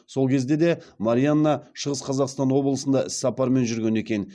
сол кезде де марианна шығыс қазақстан облысында іссапармен жүрген екен